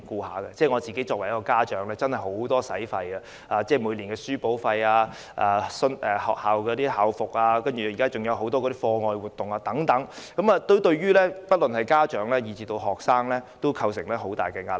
我身為家長，支出真的十分多，每年的書簿費、校服，現在還有很多課外活動等，對於家長和學生也構成很大壓力。